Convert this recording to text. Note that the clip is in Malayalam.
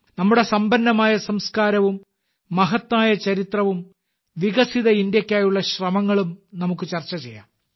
നമ്മുടെ സമ്പന്നമായ സംസ്കാരവും മഹത്തായ ചരിത്രവും വികസിത ഭാരതത്തിനായുള്ള ശ്രമങ്ങളും നമുക്ക് ചർച്ച ചെയ്യാം